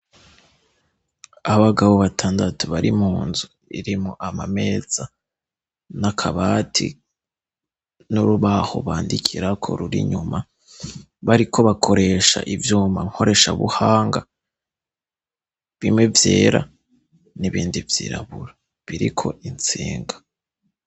Abagabo ba tandatu bari munzu, irimwo amameza n'akabati n'urubaho bandikirako ruri inyuma, bariko bakoresha ivyuma nkoreshabuhanga, bimwe vyera n'ibindi vyirabura biriko intsinga.